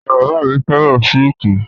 Ìyá-bàbá mi féràn sííkì.